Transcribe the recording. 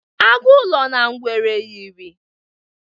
Agụ ụlọ na ngwere yịrị